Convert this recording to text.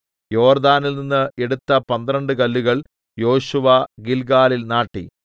യോർദ്ദാനിൽനിന്ന് എടുത്ത പന്ത്രണ്ട് കല്ലുകൾ യോശുവ ഗില്ഗാലിൽ നാട്ടി